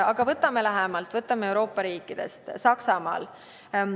Aga võtame mõne näite meile lähemalt, vaatame Euroopa riikidest Saksamaad.